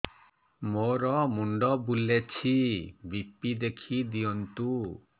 ମୋର ମୁଣ୍ଡ ବୁଲେଛି ବି.ପି ଦେଖି ଦିଅନ୍ତୁ